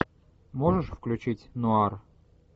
можешь включить нуар